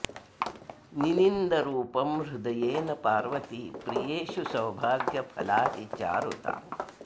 निनिन्द रूपं हृदयेन पार्वती प्रियेषु सौभाग्यफला हि चारुता